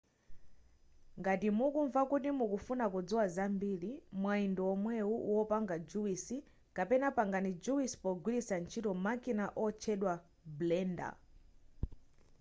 ngati mukumva kuti mufuna kudziwa zambiri mwayi ndiwomwewu wopanga juwisi kapena pangani juwisi pogwiritsa ntchito makina otchedwa blender